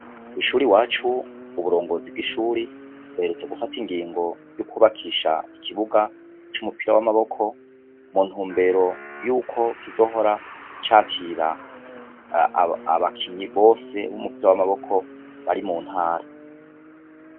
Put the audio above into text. Kw'ishuri wacu ,uburongozi bw'ishuri uherutse gufata ingingo yo kubakisha ikibuga c'umupira w'amaboko mu ntumbero y'uko kizohora cakira abakinyi bose b'umupira w'amaboko bari mu ntara.